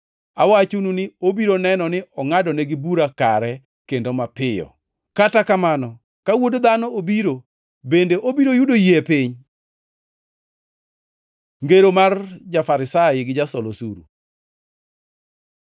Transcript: Awachonu ni obiro neno ni ongʼadnegi bura kare kendo mapiyo. Kata kamano, ka Wuod Dhano obiro, bende obiro yudo yie e piny?” Ngero mar ja-Farisai gi jasol osuru